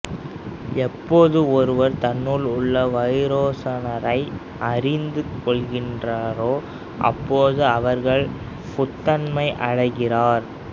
எப்போது ஒருவர் தன்னுள் உள்ள வைரோசனரை அறிந்து கொள்கின்றனரோ அப்போது அவர்கள் புத்தத்தன்மை அடைகிறார்